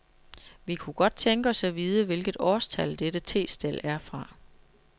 Vi kunne godt tænke os at vide, hvilket årstal dette testel er fra.